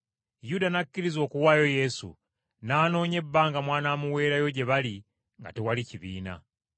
Yuda n’akkiriza okuwaayo Yesu, n’anoonya akakisa konna mw’anaamuweerayo gye bali nga tewali kibiina.